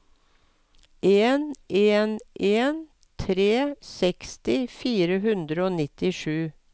en en en tre seksti fire hundre og nittisju